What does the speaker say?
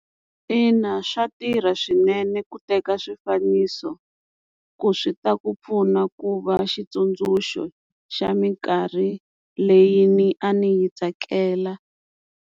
Ina swa tirha swinene ku teka swifaniso ku swi ta ku pfuna ku va xitsundzuxo xa minkarhi leyi ni a ni yi tsakela.